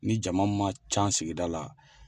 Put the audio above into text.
Ni jama man ca sigida la